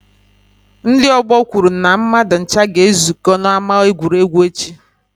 Ndị ọgbọ kwuru na mmadụ ncha ga-ezukọ n'ama egwuregwu echi.